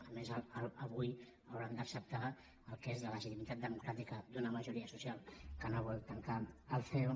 a més avui hauran d’acceptar el que és la legitimitat democràtica d’una majoria social que no vol tancar el ceo